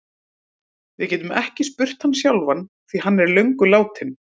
Við getum ekki spurt hann sjálfan því hann er löngu látinn.